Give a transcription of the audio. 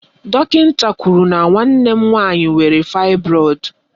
Dọkịnta kwụrụ na nwanne m nwaanyị nwere faịbroịd